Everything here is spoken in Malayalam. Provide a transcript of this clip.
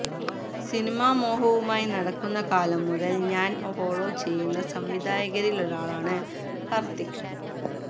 സിനിമാമോഹവുമായി നടക്കുന്ന കാലം മുതല് ഞാന് ഫോളോ ചെയ്യുന്ന സംവിധായകരിലൊരാളാണ് കാര്ത്തിക്